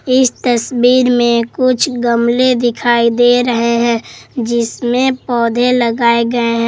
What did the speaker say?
इस तस्वीर में कुछ गमले दिखाई दे रहे हैं जिसमें पौधे लगाए गए हैं।